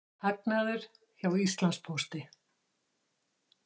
Hagnaður hjá Íslandspósti